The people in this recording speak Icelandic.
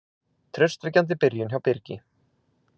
Traustvekjandi byrjun hjá Birgi